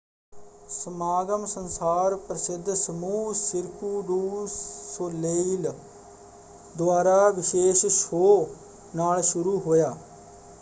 ਸਮਾਗਮ ਸੰਸਾਰ ਪ੍ਰਸਿੱਧ ਸਮੂਹ ਸਿਰਕੁ ਡੂ ਸੋਲੇਇਲ ਦੁਆਰਾ ਵਿਸ਼ੇਸ਼ ਸ਼ੋਅ ਨਾਲ ਸ਼ੁਰੂ ਹੋਇਆ।